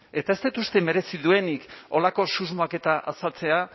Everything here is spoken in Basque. eta ez dut uste merezi duenik horrelako susmoak eta azaltzea